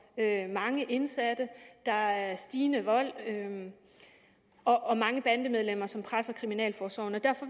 mange indsatte der er stigende vold og mange bandemedlemmer som presser kriminalforsorgen